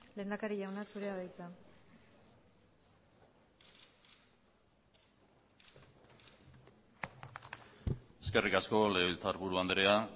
lehendakari jauna zurea da hitza eskerrik asko legebiltzarburu andrea